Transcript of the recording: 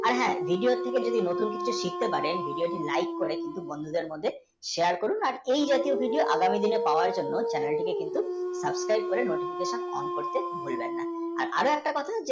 আর যদি আপনি নতুন কিছু শিখতে পারেন যদি আপনি like করে কিছু বন্ধুদের মধ্যে share করুন আর please আগামী link পাওয়ার জন্যে channel টিকে subscribe করুন আর notification, on করতে ভুলবেন না।